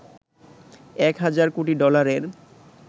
১ হাজার কোটি ডলারের